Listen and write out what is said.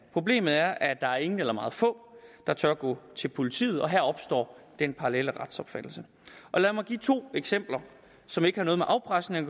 problemet er at der er ingen eller meget få der tør gå til politiet og her opstår den parallelle retsopfattelse lad mig give to eksempler som ikke har noget med afpresning